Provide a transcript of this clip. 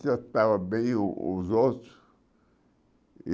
Se eu estava bem o os outros.